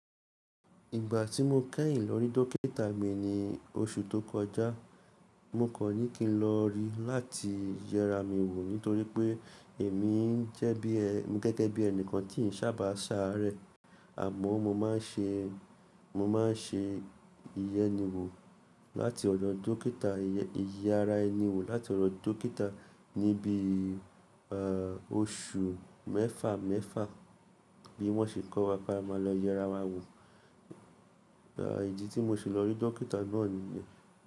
Ìgbà tí mo kẹ́yìn lọ rí dókítà mi ní oṣù tó kọjá, mo kan ní kín lọ rí i láti yẹra mi wò nítorí pé èmi ń jẹ́ bí é, gẹ́gẹ́ bí ẹnìkan tí ń sábà ṣàárẹ̀, àmọ́ mo máa ń ṣe, mo máa ń ṣe ìyẹ́ni wò láti ọ̀dọ̀ dókítà, ìyẹ́ra ẹni wò láti ọ̀dọ̀ dókítà níbi, oṣù mẹ́fà, mẹ́fà bí wọ́n ṣe kọ́ wa pé a máa lọ yẹra wa wò. Ìdí tí mo ṣe lọ rí dókítà náà nìyẹn.